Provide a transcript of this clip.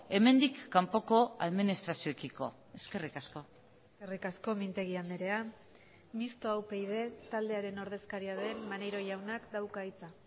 hemendik kanpoko administrazioekiko eskerrik asko eskerrik asko mintegi andrea mistoa upyd taldearen ordezkaria den maneiro jaunak dauka hitza